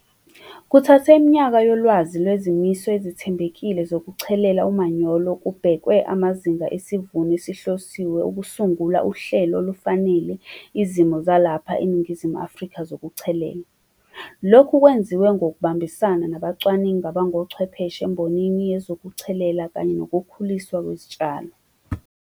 Kuthathe iminyaka yolwazi lwezimiso ezithembekile zokuchelela umanyolo kubhekwe amazinga esivuno esihlosiwe ukusungula uhlelo olufanele izimo zalapha eNingizimu Afrika zokuchelela. Lokhu kwenziwe ngokubambisana nabacwaningi abangochwepheshe embonini yezokuchelela kanye nokukhuliswa kwezitshalo.